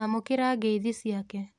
Amũkĩra ngeithi ciake.